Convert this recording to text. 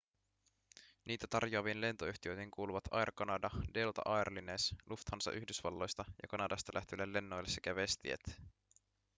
niitä tarjoaviin lentoyhtiöihin kuuluvat air canada delta air lines lufthansa yhdysvalloista ja kanadasta lähteville lennoille sekä westjet